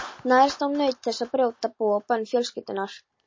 Nærast á nautn þess að brjóta boð og bönn fjölskyldunnar.